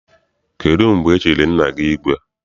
Kedụ mgbe e chiri nna gị igwe?